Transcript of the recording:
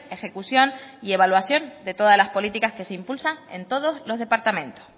ejecución y evaluación de todas las políticas que se impulsan en todos los departamentos